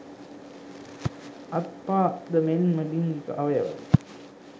අත් පාද මෙන්ම ලිංගික අවයවද